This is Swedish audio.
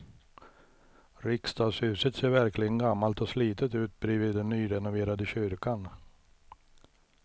Riksdagshuset ser verkligen gammalt och slitet ut bredvid den nyrenoverade kyrkan.